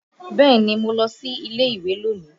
Bẹ́ẹ̀ni, mo lọ sí ilé ìwé lónìí